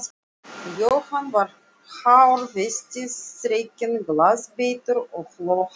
Jóhann var hár vesti, þrekinn, glaðbeittur og hló hátt.